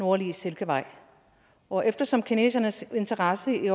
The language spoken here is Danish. nordlige silkevej og eftersom kinesernes interesse i